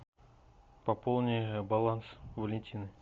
пополни баланс валентины